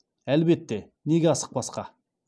әлбетте неге асықпасқа